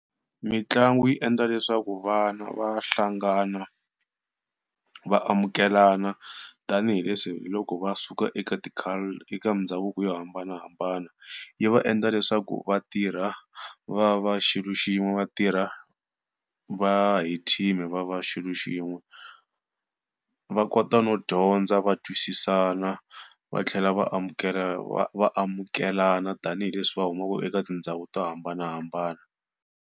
Mitlangu yi endla leswaku vana va hlangana vaamukelana, tanihileswi hiloko va suka eka ti culture eka mindhavuko yo hambanahambana. Yi va endla leswaku vatirha va va xilo xin'we, vatirha va va hi team-i va va xilo xin'we. Va kota no dyondza va twisisana va tlhela va vaamukelana tanihileswi va humaka eka tindhawu to hambanahambana.